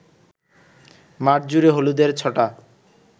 মাঠজুড়ে হলুদের ছটা